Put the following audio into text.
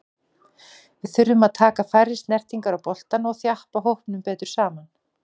Við þurfum að taka færri snertingar á boltann og þjappa hópnum betur saman.